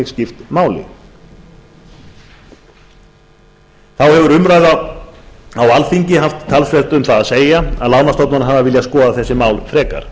skipt máli þá hefur umræða á alþingi haft talsvert um það að segja að lánastofnanir hafa viljað skoða þessi mál frekar